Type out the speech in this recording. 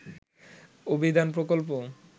অভিধান প্রকল্প